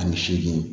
Ani seegin